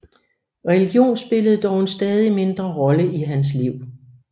Religion spillede dog en stadig mindre rolle i hans liv